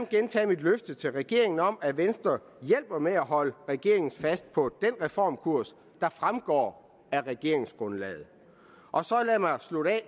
gentage mit løfte til regeringen om at venstre hjælper med at holde regeringen fast på den reformkurs der fremgår af regeringsgrundlaget så lad